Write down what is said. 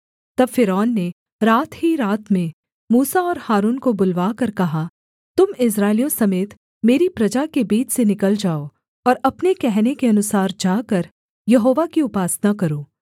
तब फ़िरौन ने रात ही रात में मूसा और हारून को बुलवाकर कहा तुम इस्राएलियों समेत मेरी प्रजा के बीच से निकल जाओ और अपने कहने के अनुसार जाकर यहोवा की उपासना करो